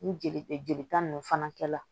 Ni jeli jelita nunnu fana kɛ la